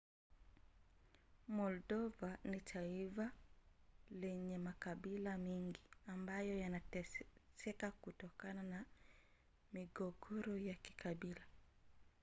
moldova ni taifa lenye makabila mngi ambayo yameteseka kutokana na migogoro ya kikabila